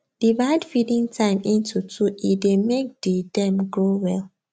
divide feeding time into two e dey make the them grow well